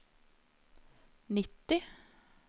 nitti